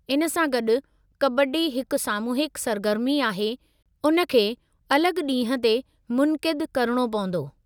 इन सां गॾु, कबड्डी हिकु सामूहिकु सरगर्मी आहे, उन खे अलॻि ॾींहं ते मुनक़िदु करणो पंवदो।